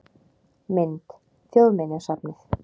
Mynd: Þjóðminjasafnið